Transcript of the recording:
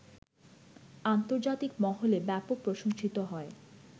আন্তর্জাতিক মহলে ব্যাপক প্রশংসিত হয়